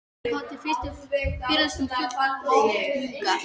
Ég kom til fyrstu fyrirlestranna full lotningar.